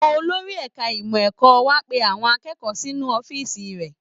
Olórí ẹ̀ka ìmọ̀ ẹ̀kọ́ wa pe awon akẹ́kọ̀ọ́ sínú ọ̀fíìsì rẹ̀